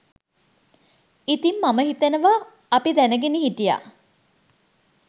ඉතින් මම හිතනවා අපි දැනගෙන හිටියා